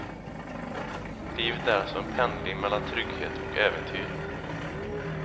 Livet är alltså en pendling mellan trygghet och äventyr.